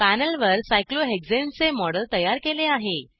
पॅनेलवर cyclohexaneसायक्लोहेक्झेन चे मॉडेल तयार केले आहे